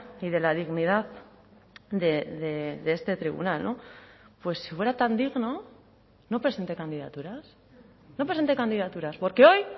y de la dignidad de este tribunal pues si fuera tan digno no presente candidaturas no presente candidaturas porque hoy